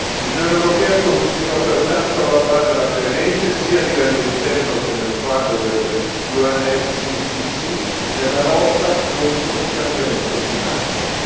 L'Unione europea continua pertanto a lavorare alacremente sia a livello interno sia nel quadro dell'UNFCCC nella lotta contro il cambiamento climatico.